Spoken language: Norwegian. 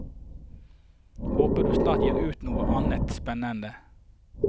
Håper du snart gir ut noe annet spennende.